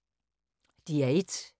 DR1